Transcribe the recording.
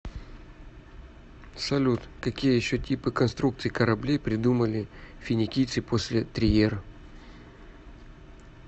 салют какие еще типы конструкций кораблей придумали финикийцы после триер